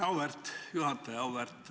Auväärt juhataja!